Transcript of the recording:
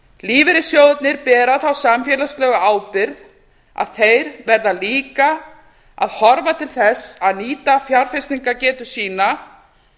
lífeyrissjóðirnir bera þá samfélagslegu ábyrgð að þeir verða líka að horfa til þess að nýta fjárfestingargetu sína